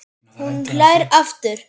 Hún hlær aftur.